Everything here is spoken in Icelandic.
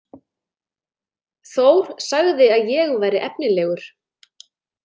Þór sagði að ég væri efnilegur.